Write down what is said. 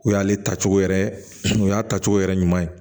O y'ale ta cogo yɛrɛ o y'a ta cogo yɛrɛ ɲuman ye